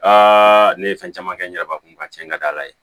Aa ne ye fɛn caman kɛ n yɛrɛbakun ka cɛn ka d'ala ye